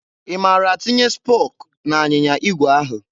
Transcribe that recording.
I mara a tinye spok n'anyịnya igwe ahụ?